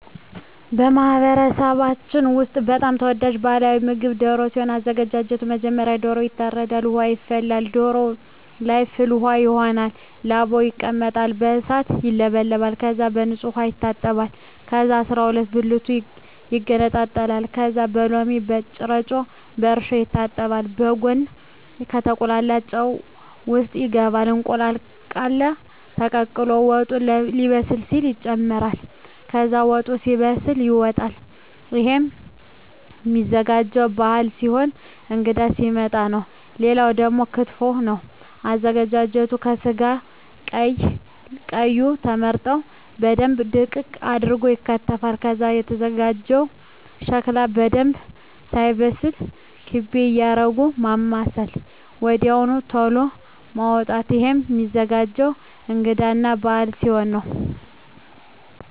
በማህበረሰባችን ውስጥ በጣም ተወዳጅ ባህላዊ ምግብ ደሮ ሲሆን አዘጋጁ መጀመሪያ ዶሮዎ ይታረዳል ውሃ ይፈላና ዶሮዎ ለይ ፍል ውሃው ይሆናል ላባው ይለቀማል በእሳት ይውለበለባል ከዛ በንጹህ ዉሃ ይታጠባል ከዛ አስራሁለት ብልቱ ይገነጣጠላል ከዛ በሎሚ በጭረጮ በእርሾ ይታጠባል በጉን ከተቁላላው ጨው ውሰጥ ይገባል እንቁላል ቃለ ተቀቅሎ ወጡ ሌበስል ሲል ይጨምራል ከዛ ወጡ ሲበስል ይወጣል እሄም ሚዘጋጀው ባህል ሲሆን እንግዳ ሲመጣ ነው ሌላው ደግሞ ክትፎ ነው አዘገጃጀቱ ከስጋው ቀይ ቀዩ ተመርጠው በደንብ ድቅቅ አርገው ይከተፋል ከዛ ከተዘጋጀው ሸክላ በደንብ ሳይበስል ክቤ እያረጉ ማማሰል ወድያው ተሎ ማዉጣት እሄም ሚዘገጀው እንግዳ እና በአል ሲሆን ነው